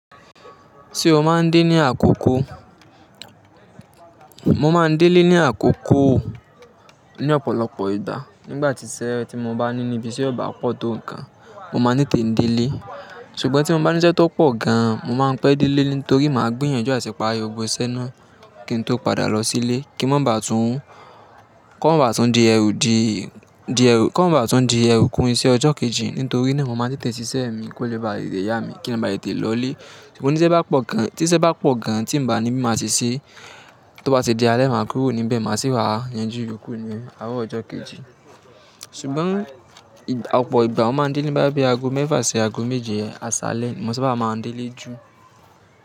Tí o máa ń dé ní àkókó? Mo máa ń délé ní àkókó ní ọ̀pọ̀lọpọ̀ ìgbà. Nígbà tí sẹ́ẹ́ tí mo bá níní ibi ise o ọba pọ̀ tó ǹkan, mo máa ní kiń dé lé. Ṣùgbọ́n tí mo bá ní iṣẹ́ tó pọ̀ gan, mo máa ń pẹ́ délé torí màá gbiyànjú àti pààrii gbògbò sé naa kí n tó padà lọ sílé kí ó mo bàa tún di ẹrú kún iṣẹ́ ọjọ́ kejì nítorí naa mo máa tetẹ̀ sí iṣẹ́ mi kó lè báa le yá mi kí n bàa tètè lọlé. Ṣùgbọ́n tí iṣẹ́ bá pọ̀ gan, tí ìbá ni bí máa ṣeṣe, tó bá ti di alẹ́, màá kúrò níbẹ̀, màá sì wá yanjú ìyòkú mi àárọ̀ ọjọ́ kejì. Ṣùgbọ́n ọ̀pọ̀ ìgbà ó máa ń délé ní boyá bi aago mẹ́fà sí aago méje àsálẹ̀, mo maa n sabá máa délé jù.